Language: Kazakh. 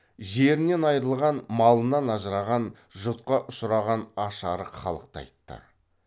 жерінен айырылған малынан ажыраған жұтқа ұшыраған аш арық халықты айтты